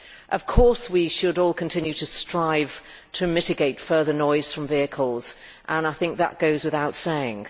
Of course we should all continue to strive to mitigate further noise from vehicles and I think that goes without saying.